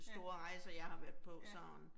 Ja. Ja